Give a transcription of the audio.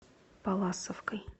палласовкой